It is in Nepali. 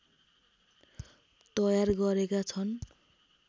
तयार गरेका छन्